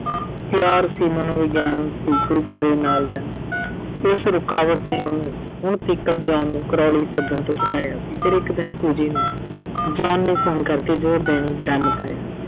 ਪਿਆਰ ਸੀ, ਮਨੋਵਿਗਿਆਨ ਸੀ ਕੋਈ ਗੋਰੇ ਨਾਲ ਦਾ ਤੇ ਇਸ ਰੁਕਾਵਟ ਨੇ ਉਹਨੂੰ ਹੁਣ ਤੀਕਰ John ਨੂੰ Crawley ਸੱਦਣ ਤੋਂ ਹਟਾਇਆ ਸੀ। ਫਿਰ ਇੱਕ ਦਿਨ Fuji ਨੂੰ John ਨੇ phone ਕਰਕੇ ਜ਼ੋਰ ਦੇਣੇ ਪਾਇਆ।